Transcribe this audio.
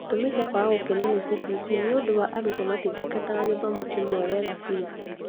Gĩtũmi gĩa kwaga gũkenio nĩ CBC nĩ ũndũ arutwo matithingataga gĩthomo kĩmwe wega biũ